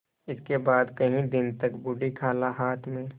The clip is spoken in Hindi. इसके बाद कई दिन तक बूढ़ी खाला हाथ में